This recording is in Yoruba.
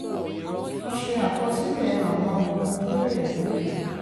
a ṣe àkọsílẹ̀ àwọn ohun tó lè mú